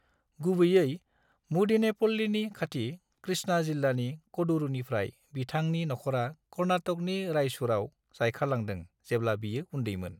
गुबैयै मुदीनेपल्लीनि खाथि कृष्णा जिल्लानि कडुरुनिफ्राय, बिथांनि नखरा कर्नाटकनि रायचूरआव जायखारलांदों जेब्ला बियो उन्दैमोन।